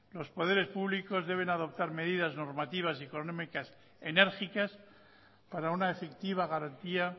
los poderes públicos deben adoptar medidas normativas y económicas enérgicas para una efectiva garantía